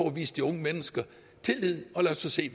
at vise de unge mennesker tillid og lad os så se